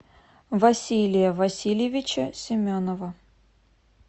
василия васильевича семенова